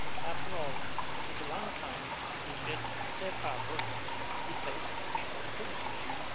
After all, it took a long time to get Safe Harbour replaced by the Privacy Shield.